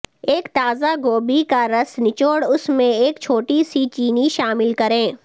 ایک تازہ گوبھی کا رس نچوڑ اس میں ایک چھوٹی سی چینی شامل کریں